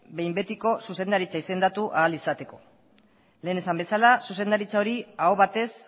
behin betiko zuzendaritza izendatu ahal izateko lehen esan bezala zuzendaritza hori aho batez